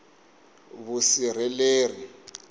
vusirheleri